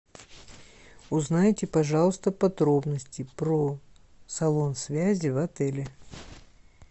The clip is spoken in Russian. узнайте пожалуйста подробности про салон связи в отеле